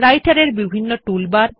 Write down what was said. রাইটের এর বিভিন্ন টুলবার